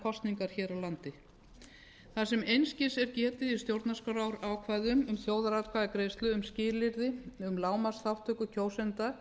kosningar hér á landi þar sem einskis er getið í stjórnarskrárákvæðum um þjóðaratkvæðagreiðslu um skilyrði um lágmarksþátttöku kjósenda